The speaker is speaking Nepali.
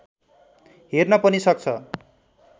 हेर्न पनि सक्छ